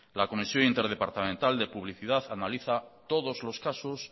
la comisión interdepartamental de publicidad analiza todos los casos